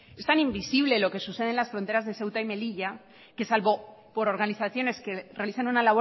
es tan invisible lo que sucede en las fronteras de ceuta y melilla que salvo por organizaciones que realizan una